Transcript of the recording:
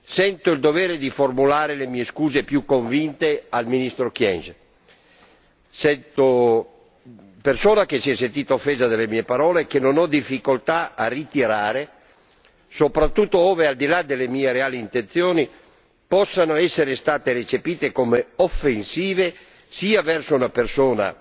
sento il dovere di formulare le mie scuse più convinte al ministro Kyenge, persona che si è sentita offesa dalle mie parole, che non ho difficoltà a ritirare soprattutto ove, al di là delle mie reali intenzioni, possano essere state recepite come offensive sia verso una persona